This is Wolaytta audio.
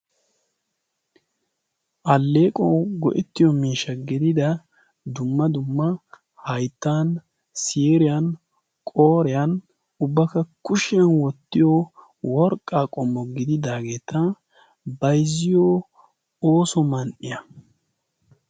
alleequwan go'ettiyo miishsha gedida dumma dumma haittan siriyan qoreyan ubbakka kushiyan wottiyo worqqaa qommo gididaageeta bayzziyo ooso man''iya